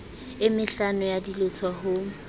e mehlano ya dilotho ho